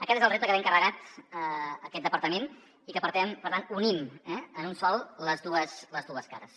aquest és el repte que té encarregat aquest departament i que per tant unim en un de sol les dues cares